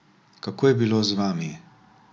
Kako je bilo z vami?